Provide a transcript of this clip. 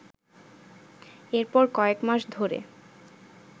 এরপর কয়েক মাস ধরে